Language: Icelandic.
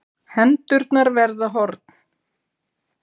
Hendurnar verða horn.